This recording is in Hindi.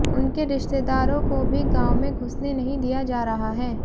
उनके रिश्तेदारों को भी गांव में घुसने नहीं दिया जा रहा है